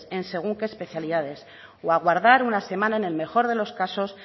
en según qué especialidades o aguardar una semana en el mejor de los casos